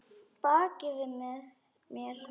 Baki við mér?